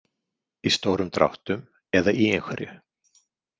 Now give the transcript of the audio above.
Í stórum dráttum eða í einhverju.